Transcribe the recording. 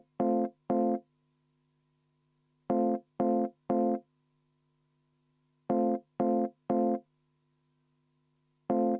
V a h e a e g